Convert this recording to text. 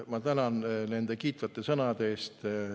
Ma tänan nende kiitvate sõnade eest!